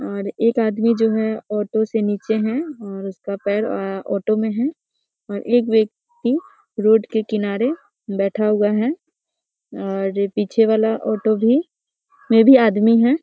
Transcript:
और एक आदमी जो है ऑटो से नीचे है और उसका पैर ए ऑटो में है और एक व्यक्ति रोड के किनारे बैठा हुआ है और पीछे वाला ऑटो भी में भी आदमी है।